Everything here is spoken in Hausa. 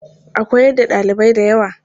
A koyar da ɗalibai da kyau.